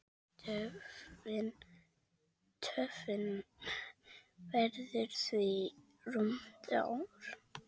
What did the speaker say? Töfin verður því rúmt ár.